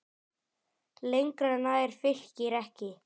Lengra nær Fylkir ekki.